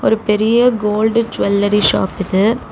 ஒரு பெரிய gold jewellery shop இது.